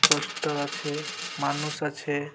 Poster আছে মানুষ আছে।